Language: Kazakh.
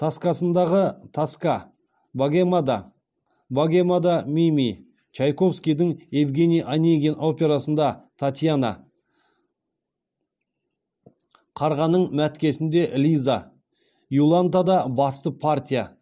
тоскасындағы тоска богемада богемада мими чайковскийдің евгений онегин операсында татьяна қарғаның мәткесінде лиза иолантада басты партия